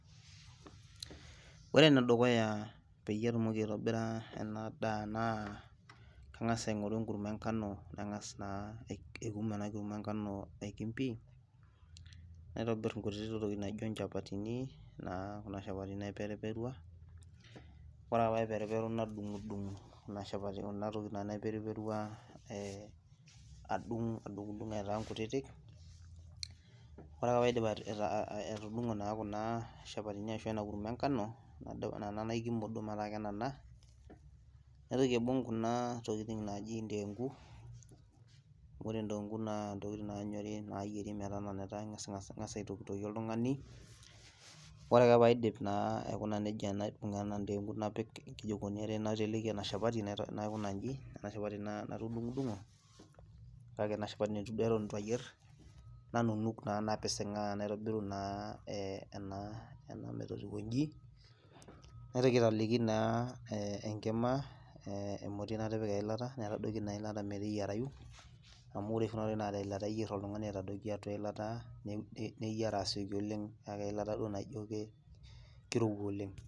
ore enedukuya peyie atum aitobira edaa naa kangas aingoru enkurma engano nangas aikum enakurma engano, naitobir inkutitik tokitin naijio ichapatini, naa naiperuperua nadungidung' aitaa kutitik, ore ake pee aidip naitoki ake aibung', ore idengu naa ingas aitokitokie, ore ake pee aidip ena dengu naiteleki ena shapati, naikuna iji ena shapati natudungudung'o, nanunuk naa napisingaa metotiwuo iji amu ore kuna tokitin naa eilata oshi eyieriki naijio duoo kirowua oleng.